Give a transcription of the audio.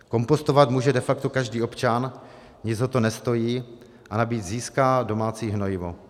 Kompostovat může de facto každý občan, nic ho to nestojí a navíc získá domácí hnojivo.